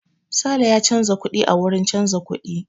Sale ya canza kuɗi a wurin canza kuɗi.